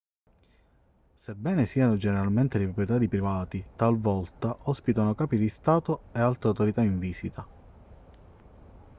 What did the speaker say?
sebbene siano generalmente di proprietà di privati talvolta ospitano capi di stato e altre autorità in visita